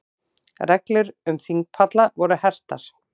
Reglur um þingpalla voru hertar